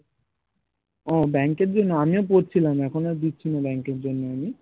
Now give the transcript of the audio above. ও bank এর জন্য আমিও পড়ছিলাম এখন আর দিচ্ছি না bank এর জন্য আমি